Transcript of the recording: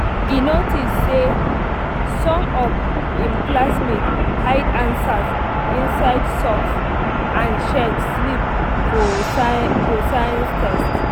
e notice say some of im classmates hide answers um inside um socks and um shirt sleeve for science test.